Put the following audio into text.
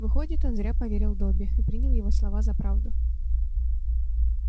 выходит он зря поверил добби и принял его слова за правду